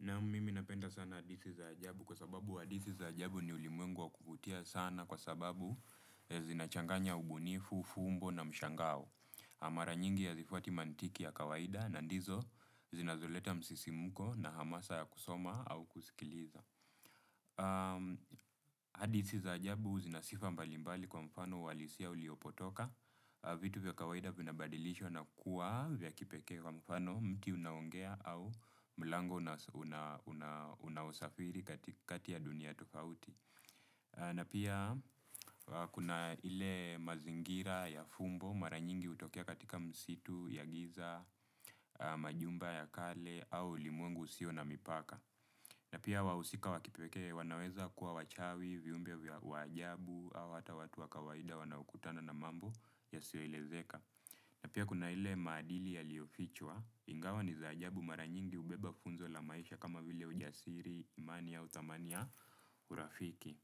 Nam mimi napenda sana hadithi za ajabu kwa sababu hadithi za ajabu ni ulimwengu wa kuvutia sana kwa sababu zinachanganya ubunifu, ufumbo na mshangao. Mara nyingi hazifuati mantiki ya kawaida na ndizo zinazoleta msisimko na hamasa ya kusoma au kusikiliza. Hadisi za ajabu zina sifa mbalimbali uhalisia uliopotoka. Vitu vya kawaida vinabadilishwa na kuwa vya kipekee kwa mfano mti unaongea au mlango unaosafiri katika kati ya dunia tofauti. Na pia kuna ile mazingira ya fumbo mara nyingi hutokea katika misitu ya giza majumba ya kale au ulimwengu usio na mipaka. Na pia wahusika wa kipekee wanaweza kuwa wachawi, viumbe wa ajabu, au hata watu wa kawaida wanaokutana na mambo yasioelezeka. Na pia kuna ile maadili yaliyofichwa, ingawa ni za ajabu mara nyingi hubeba funzo la maisha kama vile ujasiri, imani au thamani ya urafiki.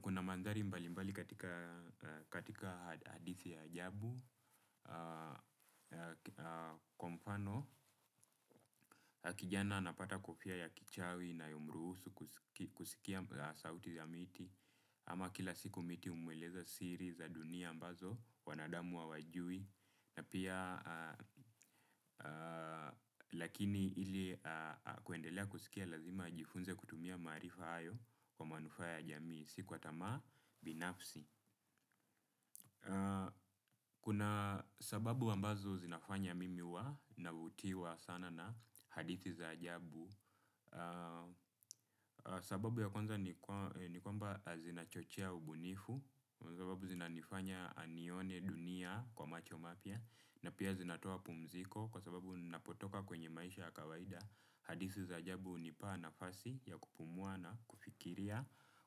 Kuna mandhari mbalimbali katika hadithi ya ajabu. Kwa mfano, kijana anapata kofia ya kichawi inayomruhusu kusikia sauti za miti. Ama kila siku miti humweleza siri za dunia ambazo wanadamu hawajui. Na pia lakini ili kuendelea kusikia lazima ajifunze kutumia marifa hayo. Kwa manufaa ya jamii, si kwa tamaa binafsi kuna sababu ambazo zinafanya mimi huwa navutiwa sana na hadithi za ajabu. Sababu ya kwanza ni kwamba zinachochia ubunifu. Kwa sababu zinanifanya anione dunia kwa macho mapya. Na pia zinatoa pumziko kwa sababu ninapotoka kwenye maisha ya kawaida. Hadithi za ajabu hunipaa nafasi ya kupumua na kufikiria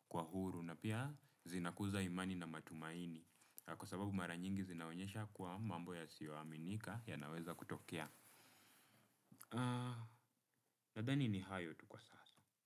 kwa huru na pia zinakuza imani na matumaini kwa sababu mara nyingi zinaonyesha kuwa mambo yasiyoaminika yanaweza kutokea. Nadhani ni hayo tu kwa sasa.